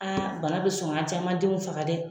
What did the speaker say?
bana bi sɔn ga a caman denw faga dɛ